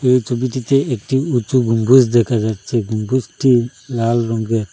এই ছবিটিতে একটি উঁচু গম্বুজ দেখা যাচ্ছে গম্বুজটি লাল রঙ্গের ।